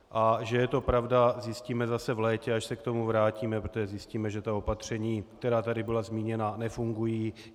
A že je to pravda, zjistíme zase v létě, až se k tomu vrátíme, protože zjistíme, že ta opatření, která tady byla zmíněna, nefungují.